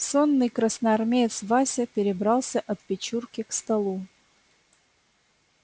сонный красноармеец вася перебрался от печурки к столу